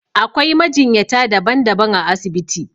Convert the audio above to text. Akwai majinyata daban daban a asibiti